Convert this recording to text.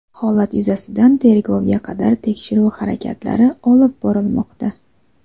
Holat yuzasidan tergovga qadar tekshiruv harakatlari olib borilmoqda.